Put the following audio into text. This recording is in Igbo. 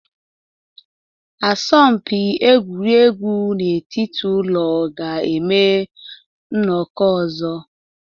Asọmpi egwuregwu n'etiti ụlọ ga-eme nnọkọ ọzọ